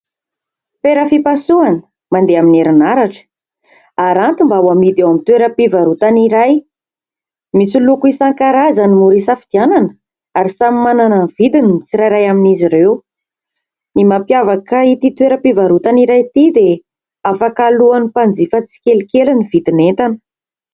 Fera fipasohana mandeha amin'ny herinaratra. Aranty mba ho hamidy eo amin'ny toeram-pivarotana iray. Misy loko isan-karazany mora hisafidianana ary samy manana ny vidiny ny tsirairay amin'izy ireo. Ny mampiavaka ity toeram-pivarotana iray ity dia afaka alohan'ny mpanjifa tsikelikely ny vidin'entana.